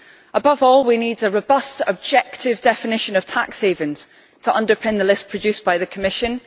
Above all, we need a robust, objective definition of tax havens to underpin the list produced by the Commission